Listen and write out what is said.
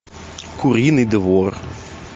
куриный двор